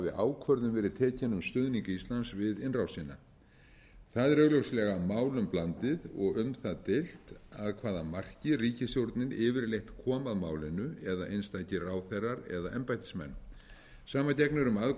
ákvörðun verið tekin um stuðning íslands við innrásina það er augljóslega málum blandið og um það deilt að hvaða marki ríkisstjórnin yfirleitt kom að málinu eða einstakir ráðherrar eða embættismenn sama gegnir um